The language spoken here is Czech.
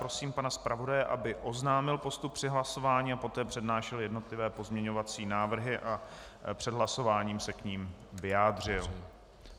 Prosím pana zpravodaje, aby oznámil postup hlasování a poté přednášel jednotlivé pozměňovací návrhy a před hlasováním se k nim vyjádřil.